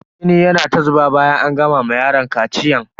Jini yana ta zuba bayan an gama ma yaron kaciyan.